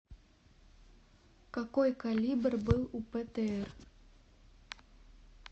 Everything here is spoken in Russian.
какой калибр был у птр